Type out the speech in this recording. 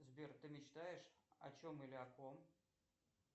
сбер ты мечтаешь о чем или о ком